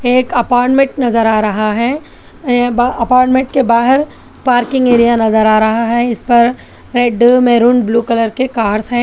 एक अपार्टमेंट नजर आ रहा है अह अपार्टमेंट के बाहर पार्किंग एरिया नजर आ रहा है इस पर रेड मेहरून ब्लू कलर के कार्स हैं।